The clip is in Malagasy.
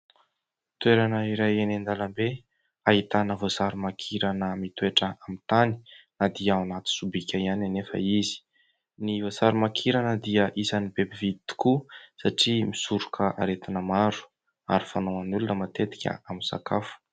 Toerana iray eny an-dalambe ahitana voasarimakirana mitoetra amin'ny tany na dia ao anaty sobika ihany anefa izy. Ny voasarimakirana dia isan'ny be mpividy tokoa satria misoroka aretina maro ary fanaon'ny olona matetika amin'ny sakafo.